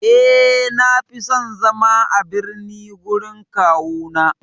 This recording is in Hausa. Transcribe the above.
Eh, Na fi son zama a birni gurin kawuna.